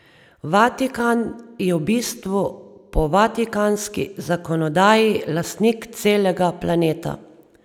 Vatikan je v bistvu po Vatikanski zakonodaji lastnik celega planeta.